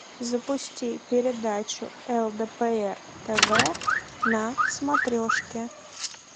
запусти передачу лдпр тв на смотрешке